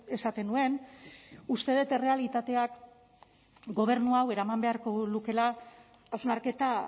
esaten nuen uste dut errealitateak gobernu hau eraman beharko lukeela hausnarketa